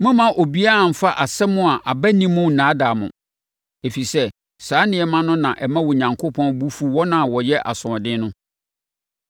Mommma obiara mfa nsɛm a aba nni mu nnaadaa mo. Ɛfiri sɛ, saa nneɛma no na ɛma Onyankopɔn bo fu wɔn a wɔyɛ asoɔden no.